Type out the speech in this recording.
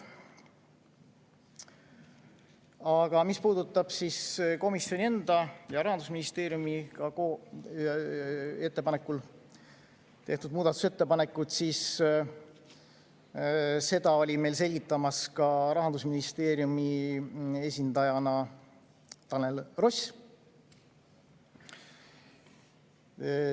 Aga mis puudutab komisjoni enda ja Rahandusministeeriumi ettepanekul tehtud muudatusettepanekuid, siis seda oli meil selgitamas Rahandusministeeriumi esindajana Tanel Ross.